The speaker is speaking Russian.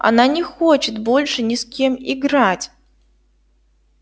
она не хочет больше ни с кем играть